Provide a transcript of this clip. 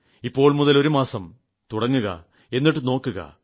ഇപ്പോൾ മുതൽ ഒരു മാസം തുടങ്ങുക എന്നിട്ട് നോക്കുക